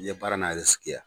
I ye baara n'a ye ha.